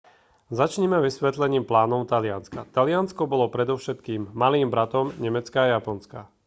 začnime vysvetlením plánov talianska taliansko bolo predovšetkým malým bratom nemecka a japonska